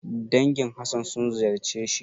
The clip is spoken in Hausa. Dangin Hassan sun ziyarce shi.